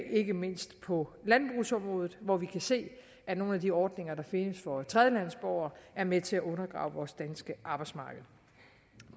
ikke mindst på landbrugsområdet hvor vi kan se at nogle af de ordninger der findes for tredjelandsborgere er med til at undergrave vores danske arbejdsmarked